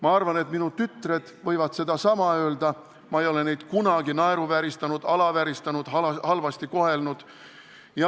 Ma arvan, et minu tütred võivad sedasama öelda – ma ei ole neid kunagi naeruvääristanud, alavääristanud, halvasti kohelnud.